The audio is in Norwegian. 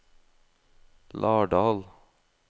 Lardal